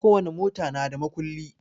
Ko wani mota na da makulli